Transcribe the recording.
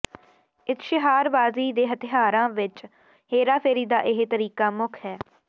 ਇਸ਼ਤਿਹਾਰਬਾਜ਼ੀ ਦੇ ਹਥਿਆਰਾਂ ਵਿੱਚ ਹੇਰਾਫੇਰੀ ਦਾ ਇਹ ਤਰੀਕਾ ਮੁੱਖ ਹੈ